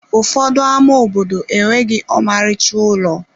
Ụfọdụ ama obodo enweghị ọmarịcha ụlọ.